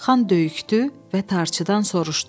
Xan böyükdü və tarçıdan soruşdu.